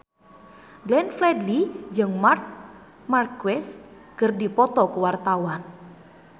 Glenn Fredly jeung Marc Marquez keur dipoto ku wartawan